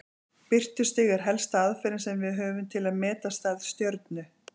Birtustig er helsta aðferðin sem við höfum til að meta stærð stjörnu.